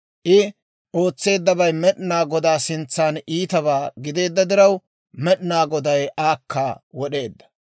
I ootseeddabay Med'inaa Godaa sintsaan iitabaa gideedda diraw, Med'inaa Goday aakka wod'eedda.